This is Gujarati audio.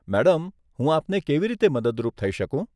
મેડમ, હું આપને કેવી રીતે મદદરૂપ થઇ શકું?